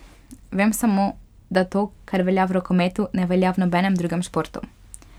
Vem samo, da to, kar velja v rokometu, ne velja v nobenem drugem športu.